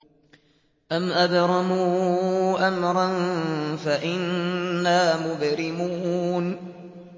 أَمْ أَبْرَمُوا أَمْرًا فَإِنَّا مُبْرِمُونَ